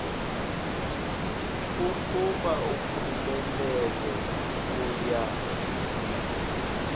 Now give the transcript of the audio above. ukuba uphumelele uya